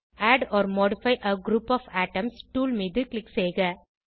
add or modify a group of items tool மீது click செய்க